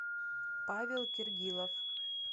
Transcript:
павел киргилов